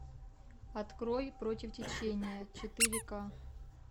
открой против течения четыре ка